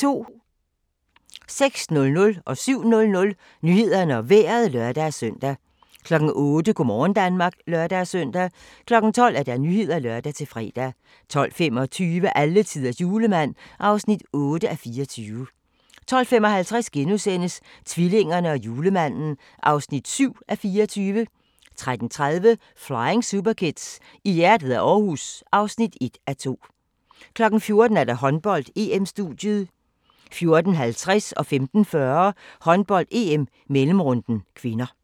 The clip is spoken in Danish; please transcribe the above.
06:00: Nyhederne og Vejret (lør-søn) 07:00: Nyhederne og Vejret (lør-søn) 08:00: Go' morgen Danmark (lør-søn) 12:00: Nyhederne (lør-fre) 12:25: Alletiders julemand (8:24) 12:55: Tvillingerne og julemanden (7:24)* 13:30: Flying Superkids: I hjertet af Aarhus (1:2) 14:00: Håndbold: EM-studiet 14:50: Håndbold: EM - mellemrunden (k) 15:40: Håndbold: EM - mellemrunden (k)